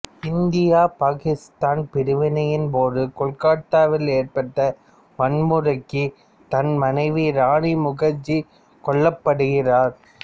இந்திய பாக்கித்தான் பிரிவினையின்போது கொல்கத்தாவில் ஏற்பட்ட வன்முறைக்கு தன் மனைவி ராணி முகர்ஜி கொல்லப்படுகிறார்